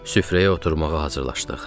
Süfrəyə oturmağa hazırlaşdıq.